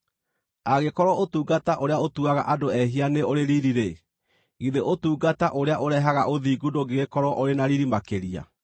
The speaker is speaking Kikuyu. Angĩkorwo ũtungata ũrĩa ũtuaga andũ ehia nĩ ũrĩ riiri-rĩ, githĩ ũtungata ũrĩa ũrehaga ũthingu ndũngĩgĩkorwo ũrĩ na riiri makĩria!